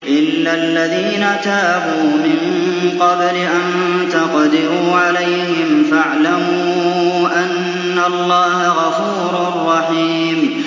إِلَّا الَّذِينَ تَابُوا مِن قَبْلِ أَن تَقْدِرُوا عَلَيْهِمْ ۖ فَاعْلَمُوا أَنَّ اللَّهَ غَفُورٌ رَّحِيمٌ